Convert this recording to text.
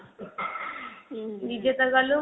ନିଜେ ତ ଗଲୁ